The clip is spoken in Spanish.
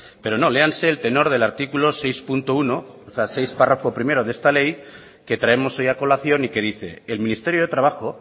pero no léanse el tenor del artículo seis punto uno o sea seis párrafo primero de esta ley que traemos hoy a colación y que dice el ministerio de trabajo